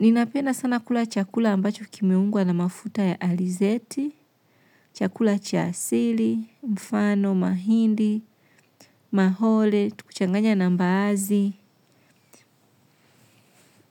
Ninapenda sana kula chakula ambacho kimeungwa na mafuta ya alizeti, chakula cha asili, mfano, mahindi, mahole, tukichanganya na mbaazi.